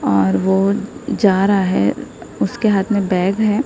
और वो जा रहा है उसके हाथ में बैग है।